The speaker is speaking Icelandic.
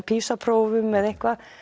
PISA prófum eða eitthvað